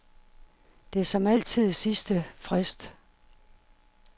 Det er som altid sidste frist.